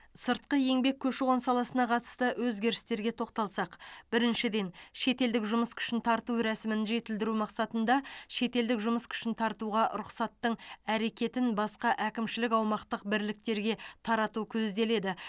сыртқы еңбек көші қон саласына қатысты өзгерістерге тоқталсақ біріншіден шетелдік жұмыс күшін тарту рәсімін жетілдіру мақсатында шетелдік жұмыс күшін тартуға рұқсаттың әрекетін басқа әкімшілік аумақтық бірліктерге тарату көзделеді